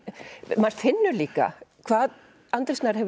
maður finnur líka hvað Andri Snær hefur